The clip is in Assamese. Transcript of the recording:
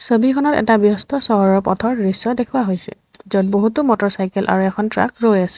ছবিখনত এটা ব্যস্ত চহৰৰ পথৰ দৃশ্য দেখুওৱা হৈছে য'ত বহুতো মটৰচাইকেল আৰু এখন ট্ৰাক ৰৈ আছে।